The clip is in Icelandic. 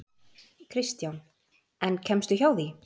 Kristján: En kemstu hjá því?